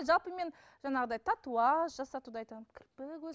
жалпы мен жаңағыдай татуаж жасатуды айтамын кірпік